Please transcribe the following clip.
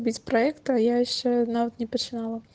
ведь проекта я яшчэ нават не пачынала